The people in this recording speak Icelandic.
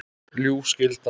ljúf skylda.